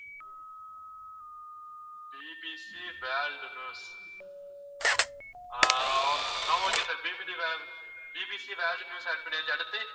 BBC world news ah o~ ah okay sir BBC world~ BBC world news add பண்ணியாச்சு, அடுத்து?